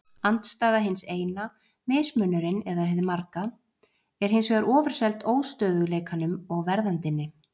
Andstæða hins eina, mismunurinn eða hið marga, er hins vegar ofurseld óstöðugleikanum og verðandinni.